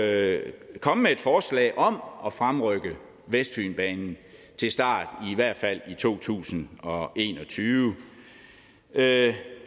at komme med et forslag om at fremrykke vestfynbanen til start i hvert fald i to tusind og en og tyve